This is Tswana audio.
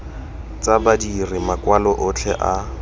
tsa badiri makwalo otlhe a